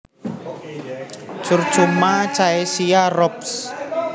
Curcuma caesia Roxb